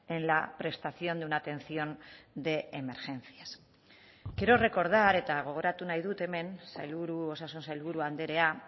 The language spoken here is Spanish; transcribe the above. en la prestación de una atención de emergencias quiero recordar eta gogoratu nahi dut hemen sailburu osasun sailburu andrea